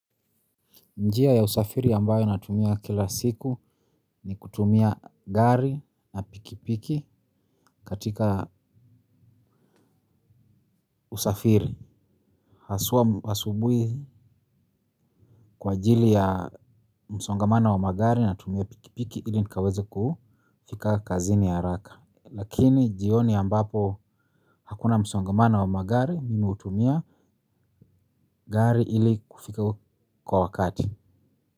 Njia ya usafiri ambayo natumia kila siku ni kutumia gari na pikipiki katika usafiri. Haswa asubuhi kwa ajili ya msongamana wa magari natumia pikipiki ili nikaweze kufika kazini haraka. Lakini jioni ambapo hakuna msongamano wa magari mimi hutumia gari ili kufika kwa wakati.